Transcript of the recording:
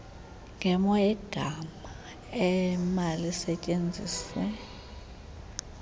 ngemo yegama emalisetyenziswe